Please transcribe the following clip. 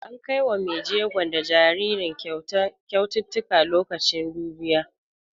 An kai wa mai jego da jaririn kyaututtuka lokacin dubiya.